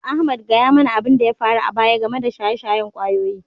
Ahmad, gaya mana abin da ya faru a baya game da shaye-shayen ƙwayoyi